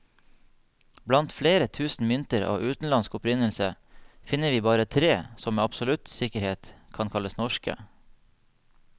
Blant flere tusen mynter av utenlandsk opprinnelse, finner vi bare tre som med absolutt sikkerhet kan kalles norske.